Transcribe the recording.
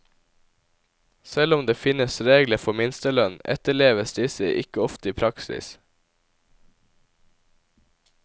Selv om det finnes regler for minstelønn etterleves disse ikke ofte i praksis.